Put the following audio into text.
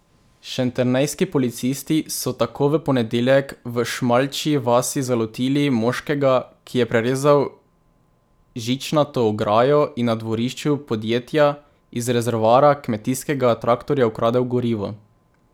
Šentjernejski policisti so tako v ponedeljek v Šmaljčji vasi zalotili moškega, ki je prerezal žičnato ograjo in na dvorišču podjetja iz rezervoarja kmetijskega traktorja ukradel gorivo.